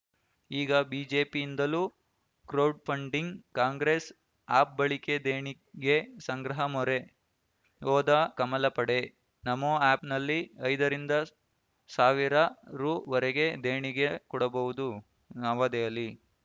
ಈಗ ಬಿಜೆಪಿಯಿಂದಲೂ ಕ್ರೌಡ್‌ಫಂಡಿಂಗ್‌ ಕಾಂಗ್ರೆಸ್‌ ಆಪ್‌ ಬಳಿಕೆ ದೇಣಿಗೆ ಸಂಗ್ರಹ ಮೊರೆ ಹೋದ ಕಮಲ ಪಡೆ ನಮೋ ಆ್ಯಪ್‌ನಲ್ಲಿ ಐದರಿಂದ ಸಾವಿರ ರುವರೆಗೂ ದೇಣಿಗೆ ಕೊಡಬಹುದು ನವದೆಹಲಿ